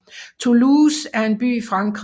Toulouse er en by i Frankrig